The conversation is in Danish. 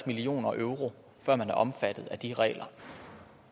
million euro før man er omfattet af de regler